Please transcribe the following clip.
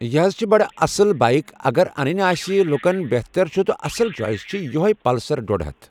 یہِ حض چھِ بَڑٕ آصٕل بایک اَگر اَنٛنٕۍ آسہِ لُکن بہتر چُھ تہٕ اَصٕل چویِس چھِ یِہوے پلسر ڈوٚڈ ہَتھ۔